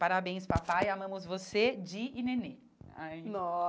Parabéns papai, amamos você, Di e Nenê. Aí